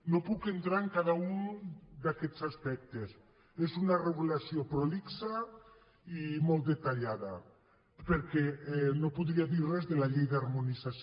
no puc entrar en cada un d’aquests aspectes és una regulació prolixa i molt detallada perquè no podria dir res de la llei d’harmonització